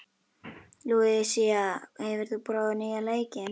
Lúísa, hefur þú prófað nýja leikinn?